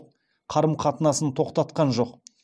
қарым қатынасын тоқтатқан жоқ